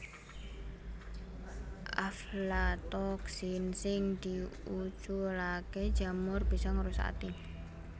Aflatoksin sing diuculaké jamur bisa ngrusak ati